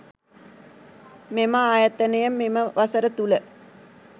මෙම ආයතනය මෙම වසර තුළ